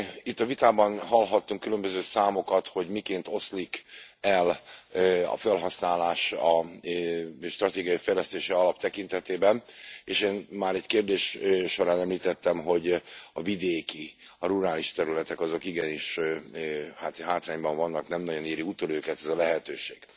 Itt a vitában hallhatunk különböző számokat, hogy miként oszlik el a fölhasználás a stratégiai fejlesztési alap tekintetében, és én már egy kérdés során említettem, hogy a vidéki, a rurális területek azok igenis hátrányban vannak, nem nagyon éri utol őket ez a lehetőség.